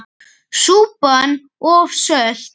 Súpan of sölt!